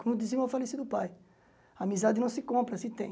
Como dizia o meu falecido pai, amizade não se compra se tem.